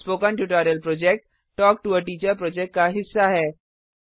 spoken tutorial project talk to a teacher project का हिस्सा है